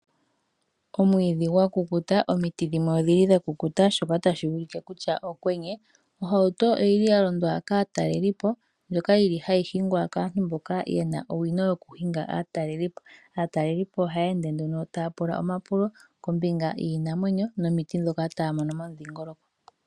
Omwiidhi gwa kukuta, nomiti dha kukuta shoka tashi ulike kutya okwenye. Ohauto oyili ya londwa kaataleli po ndjoka hayi hingwa kaantu mboka yena owino yo ku hinga aataleli po. Aataleli po ohaya ende nduno taya pula omapulo kombinga yiinamwenyo nomiti ndhoka taya mono momudhingoloko.